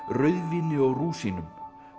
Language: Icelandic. rauðvíni og rúsínum